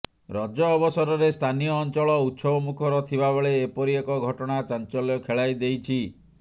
ରଜ ଅବସରରେ ସ୍ଥାନୀୟ ଅଞ୍ଚଳ ଉତ୍ସବମୁଖର ଥିବା ବେଳେ ଏପରି ଏକ ଘଟଣା ଚାଞ୍ଚଲ୍ୟ ଖେଳାଇଦେଇଛି